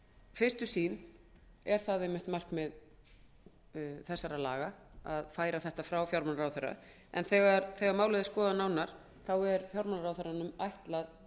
fyrstu sýn er það einmitt markmið þessara laga að færa þetta frá fjármálaráðherra en þegar málið er skoðað nánar eru fjármálaráðherranum